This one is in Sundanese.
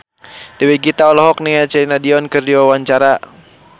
Dewi Gita olohok ningali Celine Dion keur diwawancara